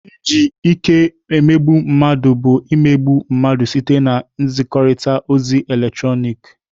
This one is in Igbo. Iji ike emegbu mmadụ bụ imegbu mmadụ site na nzikọrịta ozi eletrọnịkị.